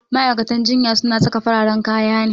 Ma'aikatan jinya su na saka fararen kaya ne